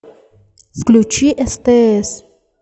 включи стс